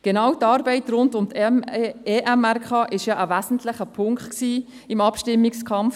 Genau die Arbeit rund um die EMRK war ein wesentlicher Punkt im Abstimmungskampf.